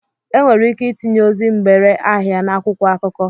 E nwere ike itinye ozi mgbere ahịa n'akwụkwọ akụkọ.